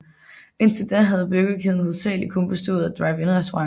Indtil da havde burgerkæden hovedsageligt kun bestået af drive in restauranter